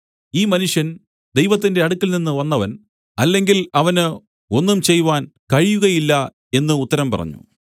ഈ മനുഷ്യൻ ദൈവത്തിന്റെ അടുക്കൽനിന്ന് വന്നവൻ അല്ലെങ്കിൽ അവന് ഒന്നും ചെയ്‌വാൻ കഴിയുകയില്ല എന്നു ഉത്തരം പറഞ്ഞു